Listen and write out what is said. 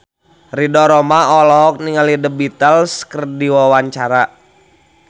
Ridho Roma olohok ningali The Beatles keur diwawancara